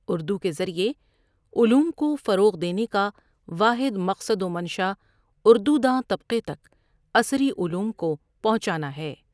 اُردو کے ذریے علوم کو فروغ دینے کا واحد مقصد و منشا اردو داں طبقے تک عصری علوم کو پہنچانا ہے۔